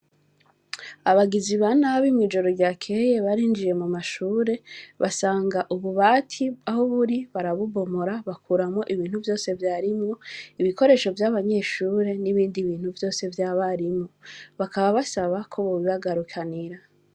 Abagizi ba nabi mw' ijoro ryaheye, barinjiye mu mashure basanga ububati aho buri barabubomora batwara ibintu vyose vyarimwo, ibikoresho vy' abanyeshure n' ibindi bintu vyose vy' abarimu. Bakaba basaba ko bobibagarukanira.